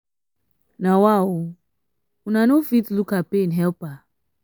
na wa o una no fit look her pain help her?